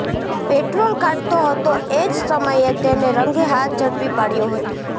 petrol કાઢતો હતો એ જ સમયે તેને રંગે હાથ ઝડપી પાડ્યો હતો